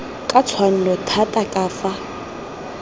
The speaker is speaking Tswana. ka tshwanno thata ka fa